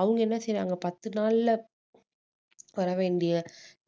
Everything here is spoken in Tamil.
அவுங்க என்ன செய்றாங்க பத்து நாள்ல வர வேண்டிய